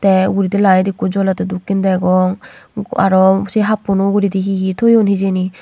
tey uguredi light ekku jolettey dokken degong aro say happuno uguredi he he toyoun hejani.